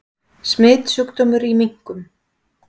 Smitsjúkdómur í minkum